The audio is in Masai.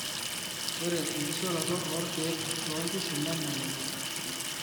ore enkishoroto o irkiek too inkishu nemelelek